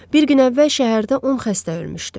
Bir gün əvvəl şəhərdə 10 xəstə ölmüşdü.